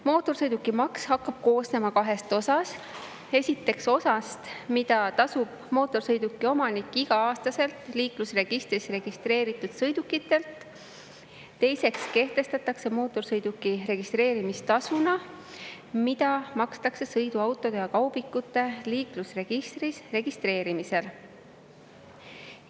Mootorsõidukimaks hakkab koosnema kahest osast: esiteks osast, mille tasub mootorsõiduki omanik iga-aastaselt liiklusregistris registreeritud sõidukitelt, ja teiseks kehtestatakse mootorsõiduki registreerimistasu, mida makstakse sõiduautode ja kaubikute liiklusregistris registreerimisel.